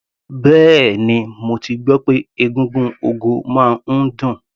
Bẹ́ẹ̀ni, mo ti gbọ́ pé egúngún ogo máa ń dùn.